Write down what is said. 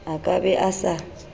a ka be a sa